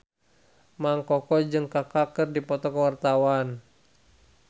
Mang Koko jeung Kaka keur dipoto ku wartawan